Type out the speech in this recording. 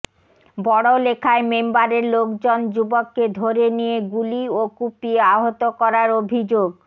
বড়লেখায় মেম্বারের লোকজন যুবককে ধরে নিয়ে গুলি ও কুপিয়ে আহত করার অভিযোগ